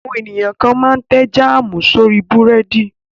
Àwọn ènìyàn kan máa tẹ́ jáámù sórí búrẹ́dì.